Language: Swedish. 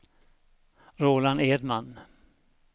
Roland Edman